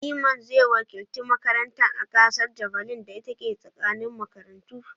Iman zai wakilci makarantar a gasar javelin da ta ke tsakanin makarantu.